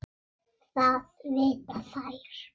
Það vita þær.